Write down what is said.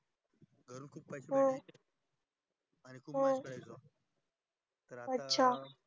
हम्म हम्म अच्छा